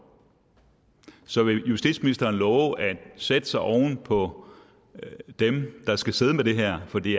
så vil justitsministeren love at sætte sig oven på dem der skal sidde med det her for det